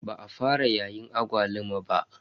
Ba a fara yayin agwaluma ba.